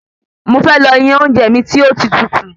Mo fẹ́ lọ yan oúnjẹ mi tí ó tí tutù